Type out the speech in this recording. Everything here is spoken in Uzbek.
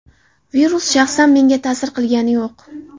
Virus shaxsan menga ta’sir qilgani yo‘q.